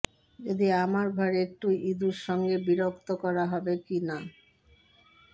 যদি আমার ঘর একটি ইঁদুর সঙ্গে বিরক্ত করা হবে কি না